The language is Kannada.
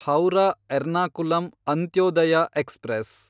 ಹೌರಾ ಎರ್ನಾಕುಲಂ ಅಂತ್ಯೋದಯ ಎಕ್ಸ್‌ಪ್ರೆಸ್